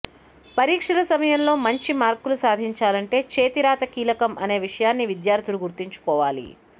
పరీక్షల సమయంలో మంచి మార్కులు సాధించాలంటే చేతి రాత కీలకం అనే విషయాన్ని విద్యార్థులు గుర్తుంచుకోవాలి